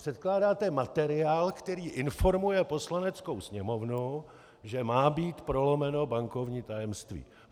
Předkládáte materiál, který informuje Poslaneckou sněmovnu, že má být prolomeno bankovní tajemství.